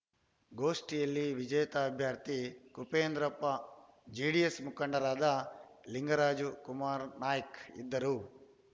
ಗೋಷ್ಠಿಯಲ್ಲಿ ವಿಜೇತ ಅಭ್ಯರ್ಥಿ ಕುಪೇಂದ್ರಪ್ಪ ಜೆಡಿಎಸ್‌ ಮುಖಂಡರಾದ ಲಿಂಗರಾಜು ಕುಮಾರನಾಯ್ಕ ಇದ್ದರು